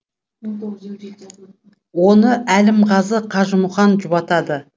оны әлімғазы қажымұқан жұбатады